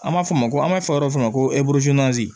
An b'a fɔ ma ko an b'a fɔ yɔrɔ dɔ ma ko